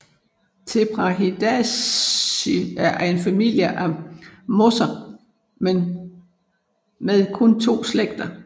Tetraphidaceae er en familie af mosser med kun to slægter